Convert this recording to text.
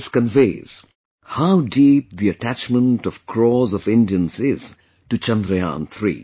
This conveys how deep the attachment of crores of Indians is to Chandrayaan3